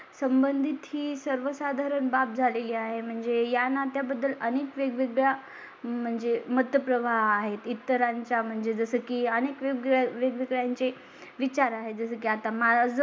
संबंधित ही सर्वसाधारण बाब झालेली आहे. म्हणजे ला नात्या बद्दल अनेक वेगवेगळ्या म्हणजे मध्य प्रवाहा आहेत. इतरांच्या म्हणजे जसं की अनेक वेगवेगळ्या चे. विचार आहे. जसं की आता मला जो